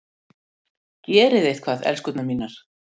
Gerið eitthvað, elskurnar mínar!